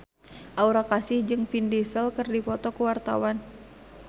Aura Kasih jeung Vin Diesel keur dipoto ku wartawan